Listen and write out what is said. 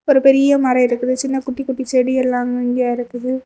ஒரு பெரிய மரம் இருக்குது சின்ன குட்டி குட்டி செடி எல்லாம் இங்கங்கிய இருக்குது.